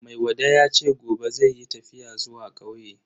Maiwada yace gobe zai yi tafiya zuwa kauye.